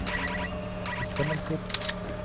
bestemmelser